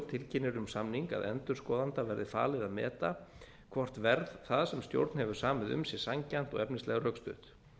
tilkynnir um samning að endurskoðanda verði falið að meta hvort verð það sem stjórn hefur samið um sé sanngjarnt og efnislega rökstutt